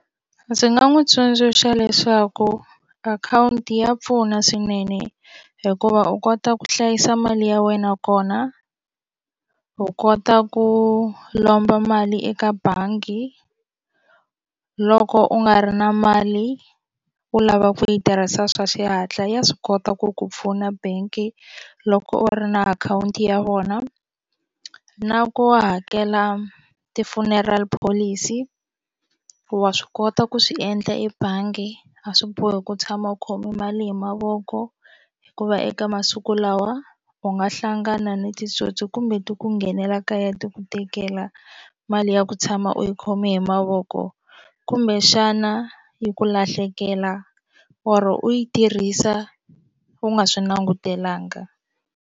Ndzi nga n'wi tsundzuxa leswaku akhawunti ya pfuna swinene hikuva u kota ku hlayisa mali ya wena kona u kota ku lomba mali eka bangi loko u nga ri na mali u lava ku yi tirhisa swa xihatla ya swi kota ku ku pfuna banki loko u ri na akhawunti ya vona na ku hakela ti-funeral policy wa swi kota ku swi endla ebangi a swi bohi ku tshama u khome mali hi mavoko hikuva eka masiku lawa u nga hlangana ni titsotsi kumbe ti ku nghenela kaya ti ku tekela mali ya ku tshama u yi khome hi mavoko kumbexana yi ku lahlekela or u yi tirhisa u nga swi langutelanga.